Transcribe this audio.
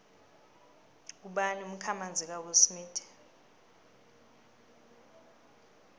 ngubani umkhamanzi kawillsmith